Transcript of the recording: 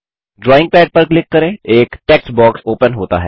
drawing pad पर click करें एक टेक्स्ट बॉक्स ओपन होता है